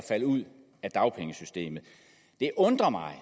at falde ud af dagpengesystemet det undrer mig